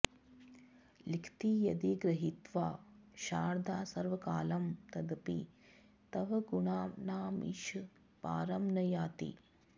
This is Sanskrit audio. लिखति यदि गृहीत्वा शारदा सर्वकालं तदपि तव गुणानामीश पारं न याति